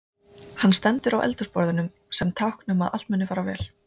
Hann stendur á eldhúsborðinu sem tákn um að allt muni fara vel.